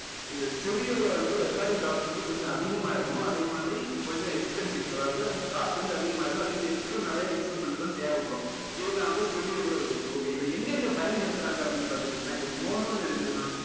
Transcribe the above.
இது stereo ல வந்து recording cost வந்து கொஞ்சம் அதிகமா இருக்கும் அதே மாதிரி கொஞ்சம் expensive அதாவது cost வந்து அதிகமா இருக்கும் அதே மாதிரி extra நிறைய instrument லாம் தேவைப்படும் இது தான் வந்து stereo குள்ள விதியாசம் okay இதை எங்க எங்க பயன்படுத்துறாங்க அப்படின்னு பார்த்துக்கிட்டிங்கன்னா இப்போ mono ன்னு இருக்குதுன்னு வச்சுக்கோங்க